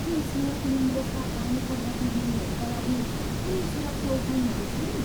के स्नोर्कलिङ जस्ता पानीका गतिविधिहरूका लागि कुनै सुरक्षा उपायहरू छन्?